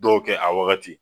Dɔw kɛ a wagati